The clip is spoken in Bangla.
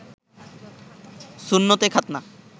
সুন্নতে খাতনা